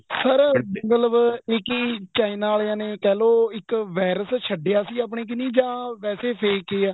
sir ਇੱਕ ਮਤਲਬ ਏ ਕੀ china ਆਲਿਆ ਨੇ ਕਹਿਲੋ ਇੱਕ virus ਛੱਡਿਆ ਸੀ ਆਪਣੇ ਕਨੀ ਜਾਂ ਵੈਸੇ fake ਹੀ ਆ